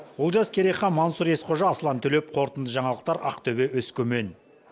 олжас керейхан мансұр есқожа аслан төлеп қорытынды жаңалықтар ақтөбе өскемен